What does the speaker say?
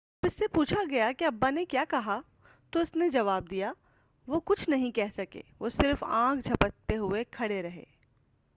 جب اس سے پوچھا گیا کہ ابا نے کیا کہا تو اس نے جواب دیا وہ کچھ نہیں کہہ سکے وہ صرف آنکھ جھپکتے ہوئے کھڑے رہے